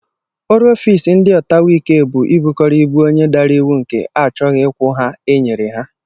Ọrụ ofiisi ndị ọtawaike bụ ibukọrọ ibu onye dara iwu nke a chọghị ịkwụ nha e nyere ya